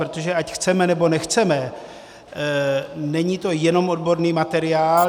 Protože ať chceme nebo nechceme, není to jenom odborný materiál.